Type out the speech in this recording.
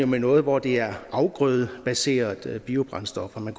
med noget hvor det er afgrødebaserede biobrændstoffer man